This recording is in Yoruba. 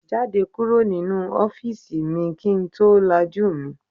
Jáde kúrò nínú ọ́fíìsì mi kì ń tó lajú mi.